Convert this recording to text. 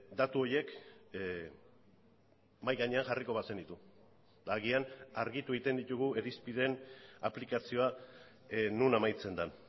datu horiek mahai gainean jarriko bazenitu agian argitu egiten ditugu irizpideen aplikazioa non amaitzen den